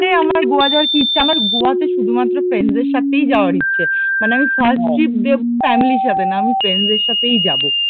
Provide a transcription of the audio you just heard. এই আমার গোয়া যাওয়ার কি ইচ্ছা, আমার গোয়া তে শুধুমাত্র ফ্রেন্ডস দের সাথে যাওয়ার ইচ্ছা, মানে আমি ফার্স্ট ট্রিপ দেব ফ্যামিলি র সাথে না আমি ফ্রেন্ডস দের সাথেই যাব